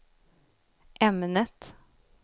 ämnet